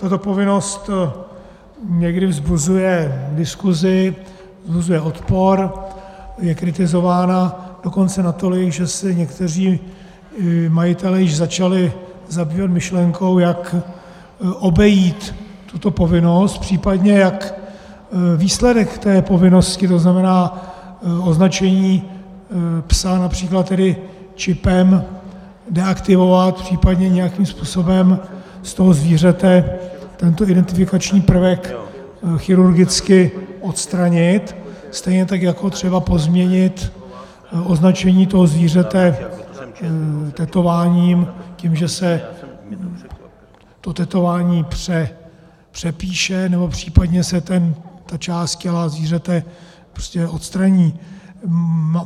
Tato povinnost někdy vzbuzuje diskuzi, vzbuzuje odpor, je kritizována dokonce natolik, že si někteří majitelé již začali zabývat myšlenkou, jak obejít tuto povinnost, případně jak výsledek té povinnosti, to znamená označení psa například tedy čipem, deaktivovat, případně nějakým způsobem z toho zvířete tento identifikační prvek chirurgicky odstranit, stejně tak jako třeba pozměnit označení toho zvířete tetováním tím, že se to tetování přepíše, nebo případně se ta část těla zvířete prostě odstraní.